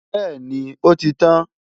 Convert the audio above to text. bẹ́ẹ̀ni, ó ti tán